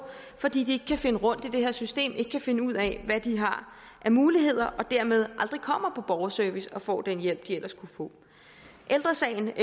fordi de ikke kan finde rundt i det her system ikke kan finde ud af hvad de har af muligheder og dermed aldrig kommer på borgerservice og får den hjælp de ellers kunne få ældre sagen